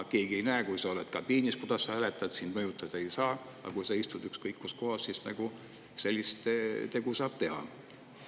Keegi ei näe, kui sa oled kabiinis, kuidas sa hääletad, sind mõjutada ei saa, aga kui sa istud ükskõik kus kohas, siis sellist tegu saab teha.